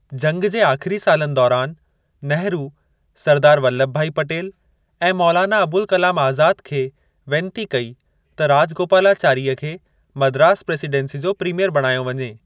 जंग जे आखिरी सालनि दौरान नेहरू, सरदार वल्लभभाई पटेल ऐं मौलाना अबुल कलाम आज़ाद खे वेनती कई त राजगोपालाचारीअ खे मद्रास प्रेसीडेंसी जो प्रीमियर बणायो वञे।